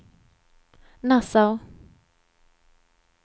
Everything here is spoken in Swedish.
Nassau